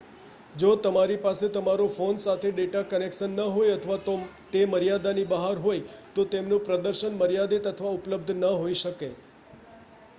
જો તમારી પાસે તમારા ફોન સાથે ડેટા કનેક્શન ન હોય અથવા તે મર્યાદાની બહાર હોય તો તેમનું પ્રદર્શન મર્યાદિત અથવા ઉપલબ્ધ ન હોઈ શકે